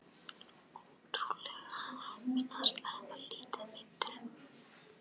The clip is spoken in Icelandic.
Ótrúlega heppinn að sleppa lítið meiddur